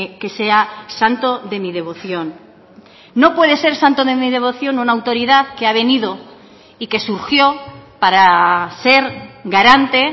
que sea santo de mi devoción no puede ser santo de mi devoción una autoridad que ha venido y que surgió para ser garante